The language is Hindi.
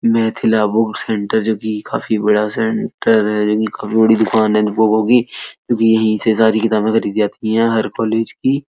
मेथिला बुक सेंटर जोकि काफी बड़ा सेण्टर है जोकि काफी बड़ी दुकान है बुकों की क्यूंकि यही से सारी किताबें खरीदी जाती हैं हर कॉलेज की।